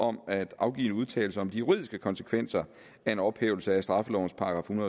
om at afgive en udtalelse om de juridiske konsekvenser af en ophævelse af straffelovens § en